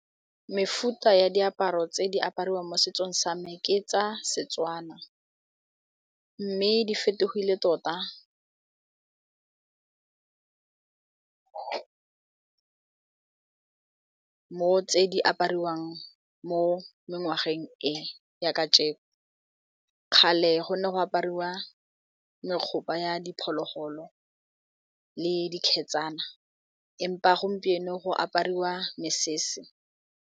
Mefuta ya diaparo tse di apariwa mo setsong same ke tsa Setswana mme di fetogile tota mo tse di apariwang mo ngwageng e ya ka jeko kgale go ne go aparwa megopa ya diphologolo le dikhetsana empa gompieno go apariwa mesese.